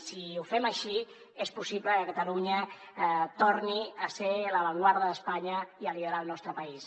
si ho fem així és possible que catalunya torni a ser l’avantguarda d’espanya i a liderar el nostre país